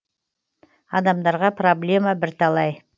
адамдарға проблема бірталай